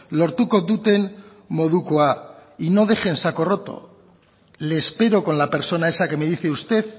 lortuko duten modukoa y no dejen saco roto le espero con la persona esa que me dice usted